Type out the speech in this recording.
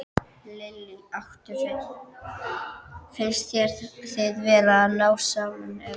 Lillý: Áttu, finnst þér þið vera að ná saman, eða?